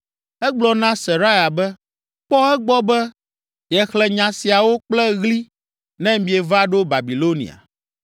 Egblɔ na Seraya be, “Kpɔ egbɔ be yexlẽ nya siawo kple ɣli ne mieva ɖo Babilonia.